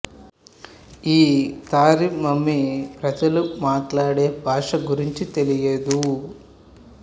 ఈ Tarim mummy ప్రజలు మాట్లాడే భాష గురించి తెలియదు